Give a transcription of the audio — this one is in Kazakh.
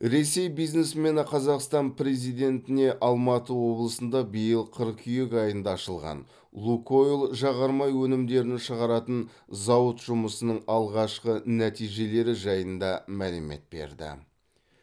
ресей бизнесмені қазақстан президентіне алматы облысында биыл қыркүйек айында ашылған лукойл жағармай өнімдерін шығаратын зауыт жұмысының алғашқы нәтижелері жайында мәлімет берді